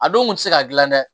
A don kun tɛ se ka gilan dɛ